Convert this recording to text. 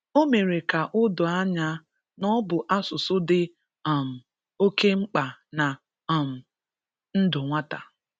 O mere ka o doo anya na ọ bụ asụsụ dị um oke mkpa na um ndụ nwata